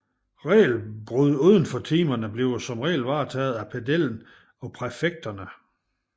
Regelbrud uden for timerne blive som regel varetaget af pedellen og præfekterne